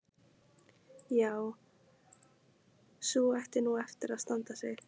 Já, sú ætti nú eftir að standa sig.